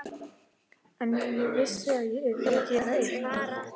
En ég vissi að ég yrði að gera eitthvað.